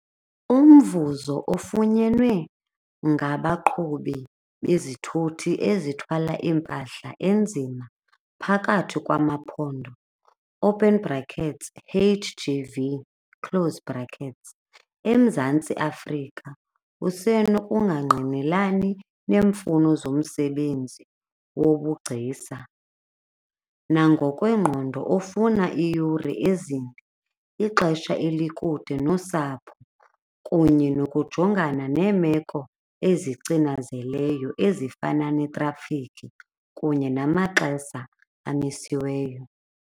Umvuzo ofunyenwe ngabaqhubi bezithuthi ezithwala iimpahla enzima phakathi kwamaphondo, open brackets H_G_V close brackets, eMzantsi Afrika usenokungangqinelani neemfuno zomsebenzi wobugcisa, nangokwengqondo ofuna iiyure ezinde, ixesha elikude nosapho kunye nokujongana neemeko ezicinazeleyo ezifana netrafikhi kunye namaxesa amisiweyo.